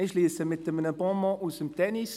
Ich schliesse mit einem Bonmot aus dem Tennis.